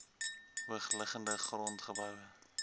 hoogliggende grond geboue